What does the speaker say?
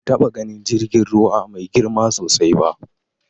Ban taɓa ganin jirgin ruwa mai girma sosai ba.